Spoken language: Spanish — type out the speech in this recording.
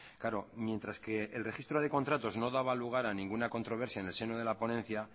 claro mientras que el registro de contratos no daba lugar a ninguna controversia en el seno de la ponencia